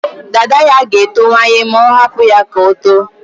Dada ya ga-etowanye ma ọ hapụ ya ka o too.